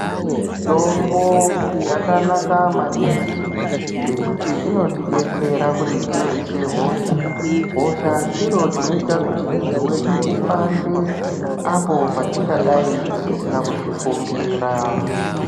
Mutombo yakanaka maningi ngekuti inotibetsera kuti tirwise hosha. Hosha chiro chinoita kuti mwiri wedu upande apo patingadai tisina kuzvifungira.